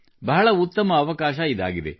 ಬಹಳ ಉತ್ತಮ ಅವಕಾಶ ಇದಾಗಿದೆ